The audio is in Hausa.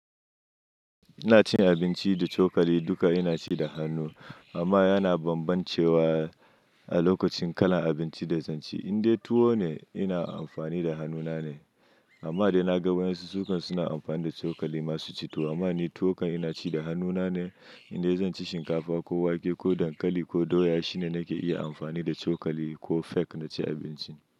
Ina cin abinci da cokali duka ina ci da hannu. Amma yana bambancewa a lokacin kalan abinci da zan ci. Inde tuwo ne ina amfani da hannuna ne, amma idan na ga wayensu sukan suna amfani da cokali masu cito. Amma ni tuwo kan ina ci da hannuna ne, inda zan ci shinkafa ko wake ko dankali ko doya shine nake iya amfani da cokali ko fek na ci abincin.